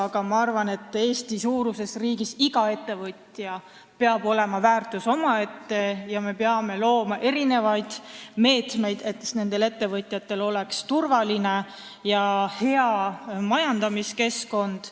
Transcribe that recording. Aga ma arvan, et Eesti-suuruses riigis peaks iga ettevõtja olema väärtus omaette ja me peame looma meetmeid, et ettevõtjatel oleks turvaline ja hea majandamiskeskkond.